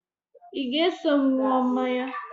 Ị ga-eso m ṅụọ mmanya?